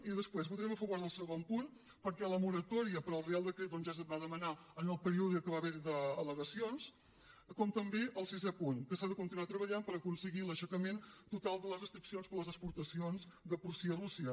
i després votarem a favor del segon punt perquè la moratòria per al reial decret ja es va demanar en el període que va haver hi d’alsisè punt que s’ha de continuar treballant per aconseguir l’aixecament total de les restriccions per a les exportacions de porcí a rússia